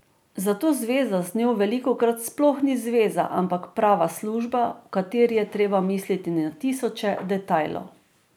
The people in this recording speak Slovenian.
Zato zveza z njo velikokrat sploh ni zveza, ampak prava služba, v kateri je treba misliti na tisoče detajlov.